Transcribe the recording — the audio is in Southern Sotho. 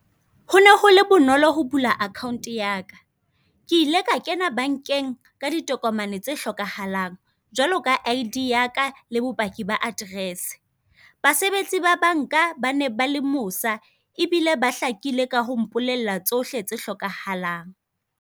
Hone ho le bonolo ho bula akhaonte yaka, ke ile ka kena bankeng ka ditokomane tse hlokahalang, jwalo ka I.D yaka, le bopaki ba aterese. Basebetsi ba banka ba ne ba le mosa ebile ba hlakile ka ho mpolella tsohle tse hlokahalang.